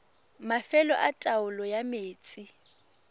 mafelo a taolo ya metsi